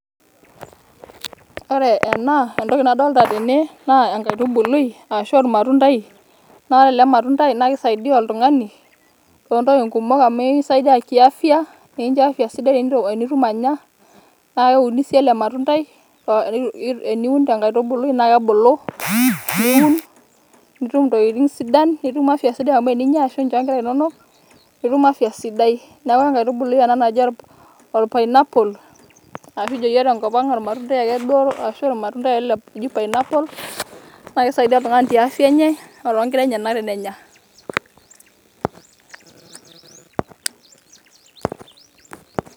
Ore ena ,entoki nadolta tene naa enkaitubului ashu ormatundai, naa ore ele matundai naa kisaidia oltungani too ntokitin kumok amu kisaidia kiafya ekincho afya sidai wo enitum anya . naa keuni sii ele matundai .teniun te nkaitubului naa kebulu ,niun nitum ntokitin sidan ,nitum afya sidai amu tenincho nkera inonok nitum afya sidai. niaku enkaitubului ena naji orpainaappol nikijo yiook tenkop ang ormatundai ake duoo ashu ormatundai ake oji pineaple .